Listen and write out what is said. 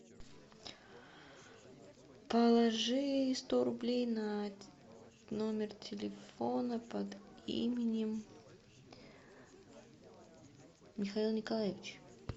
положи сто рублей на номер телефона под именем михаил николаевич